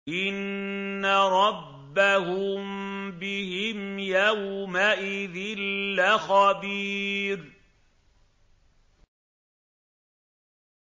إِنَّ رَبَّهُم بِهِمْ يَوْمَئِذٍ لَّخَبِيرٌ